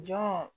Jɔn